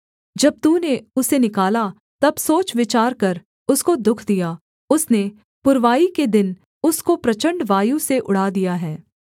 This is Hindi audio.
जब तूने उसे निकाला तब सोचविचार कर उसको दुःख दिया उसने पुरवाई के दिन उसको प्रचण्ड वायु से उड़ा दिया है